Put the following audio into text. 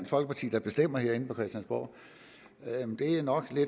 folkeparti der bestemmer herinde på christiansborg det er nok